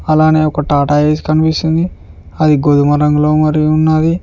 అలానే ఒక టాటా ఏస్ కనిపిస్తుంది అది గోధుమ రంగులో మరి ఉన్నది.